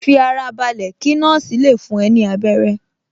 Fi ara balẹ̀ kí nọ́ọ̀sì le fún ẹ ní abẹ́rẹ́